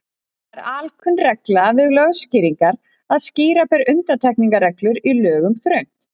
Það er alkunn regla við lögskýringar að skýra ber undantekningarreglur í lögum þröngt.